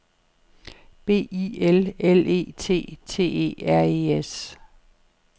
B I L L E T T E R E S